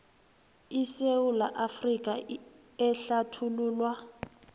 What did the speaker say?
isewula afrika ehlathululwa